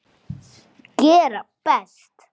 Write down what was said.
Gera best.